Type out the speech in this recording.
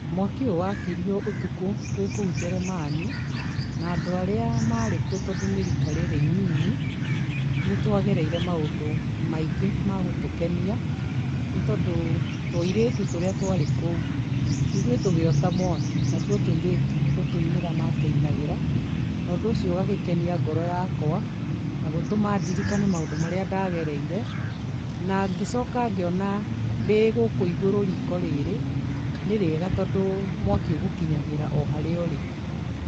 Mwaki ũyũ wakirĩo ũtukũ twĩkũu Jeremani na andũ arĩa marĩ kuo tondũ nĩ rĩka rĩrĩ ĩnyinyi nĩtwagereire maũndũ maingĩ magũtũkenia nĩ tondũ tũirĩtu tũrĩa twarĩ kũu, ithuĩ tũgĩota mwaki natuo tũirĩtu nĩgũtũinĩra matwĩinagĩra na ũndũ ũcio ũgakenia ngoro yakwa na gũtũma ndirikane maũndũ marĩa ndagereire na ngĩcoka ngĩona ndĩgũkũ igũrũ riko rĩrĩ nĩrĩega tondũ mwaki ũgũkinyagĩra oharĩa ũrĩ.